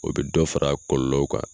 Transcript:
O bɛ dɔ fara kɔlɔlɔw kan.